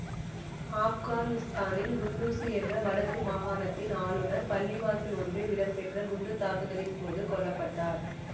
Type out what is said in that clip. ஆப்கானிஸ்தானின் குண்டூசு என்ற வடக்கு மாகாணத்தின் ஆளுநர் பள்ளிவாசல் ஒன்றில் இடம்பெற்ற குண்டுத்தாக்குதலின் போது கொல்ல பட்டார்